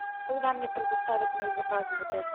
когда мне предоставят мои заказы в отель